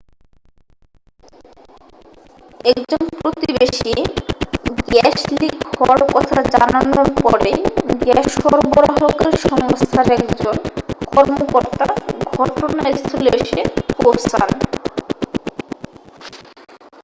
একজন প্রতিবেশী gas leak হওয়ার কথা জানানোর পরেই গ্যাস সরবরাহকারী সংস্থার একজন কর্মকর্তা ঘটনাস্থলে এসে পৌঁছন